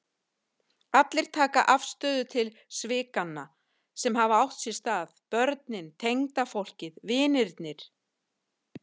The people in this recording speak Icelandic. Allir taka afstöðu til svikanna sem hafa átt sér stað, börnin, tengdafólkið, vinirnir.